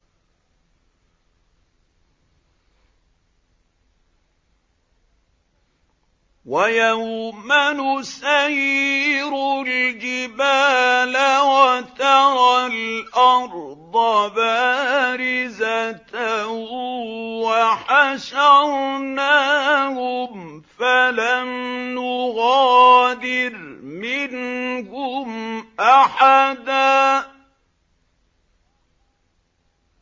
وَيَوْمَ نُسَيِّرُ الْجِبَالَ وَتَرَى الْأَرْضَ بَارِزَةً وَحَشَرْنَاهُمْ فَلَمْ نُغَادِرْ مِنْهُمْ أَحَدًا